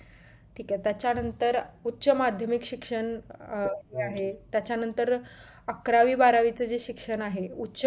ठीक आहे त्याच्यानंतर उच्च माध्यमिक शिक्षण अं हे आहे त्याचा नंतर अकरावी बारावी च जे शिक्षण आहे उच्च